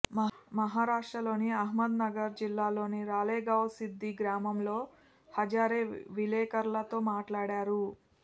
మహారాష్ట్రలోని అహ్మద్ నగర్ జిల్లాలోని రాలేగావ్ సిద్ధి గ్రామంలో హజారే విలేకరులతో మాట్లాడారు